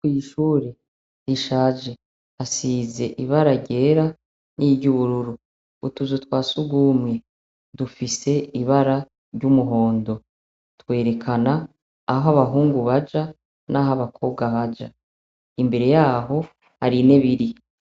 Kw'ishure rishaje hasize ibara ryera n'iryubururu. Utuzu twa sugumwe dufise ibara ry'umuhondo .twerekana aho abahungu baja naho abakobwa baja. Imbere yaho hari intebe iriyo.